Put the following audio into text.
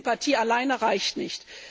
Denn Sympathie alleine reicht nicht.